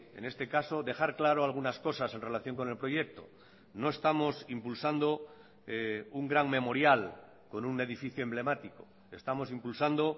en este caso dejar claro algunas cosas en relación con el proyecto no estamos impulsando un gran memorial con un edificio emblemático estamos impulsando